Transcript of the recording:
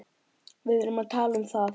Við erum að tala um það!